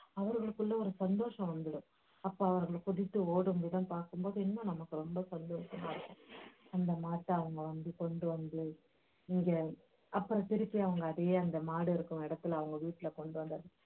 அவர்களுக்குள்ள ஒரு சந்தோசம் வந்துரும் அப்போ அவர்கள் குதித்து ஓடும்போதுலாம் பாக்கும்போது இன்னும் நமக்கு ரொம்ப சந்தோசமா இருக்கும் அந்த மாட்டை அவங்க வந்து கொண்டு வந்து இங்க அப்புறம் திருப்பி அவங்க அதையே அந்த மாடு இருக்கும் இடத்துல அவங்க வீட்டுல கொண்டு வந்து